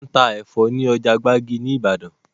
Wọn máa ń ta Ẹ̀fọ́ ni ọjà gbàgì ni Ibadan